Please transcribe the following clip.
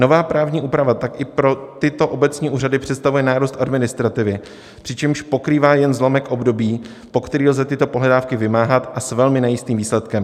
Nová právní úprava tak i pro tyto obecní úřady představuje nárůst administrativy, přičemž pokrývá jen zlomek období, po který lze tyto pohledávky vymáhat, a s velmi nejistým výsledkem.